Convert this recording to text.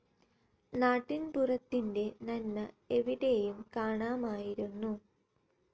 നാട്ടിൻ പുറത്തിന്റെ നന്മ എവിടെയും കാണാമായിരുന്നു.